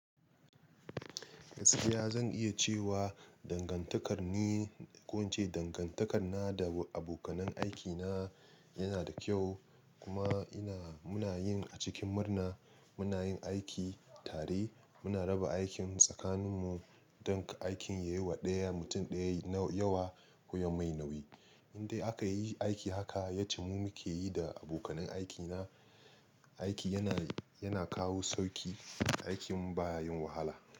Gaskiya zan iya cewa dangantakar ni, ko in ce dangantakar na da abokanan aikina yana da kyau kuma ina, muna yin a cikin murna muna yin aiki tare muna raba aikin tsakaninmu don aikin yayi wa ɗaya mutum ɗaya yawa, ko ya mai nauyi. Indai aka yi aiki haka, yace mu muke yi da abokanan aikina, aiki yana, yana kawo sauƙi, aikin baya yin wahala.